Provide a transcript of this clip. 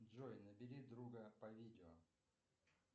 джой набери друга по видео